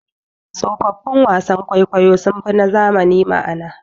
Tsofaffin wasan kwaikwayo sunfi na zamani ma'ana.